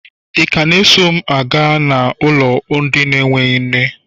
Ị ka na-eso m na ụmụ na-enweghị nne n'ụlọ?